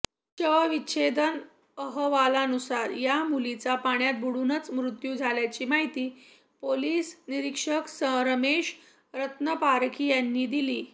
शवविच्छेदन अहवालानुसार या मुलीचा पाण्यात बुडूनच मृत्यू झाल्याची माहिती पोलीस निरीक्षक रमेश रत्नपारखी यांनी दिली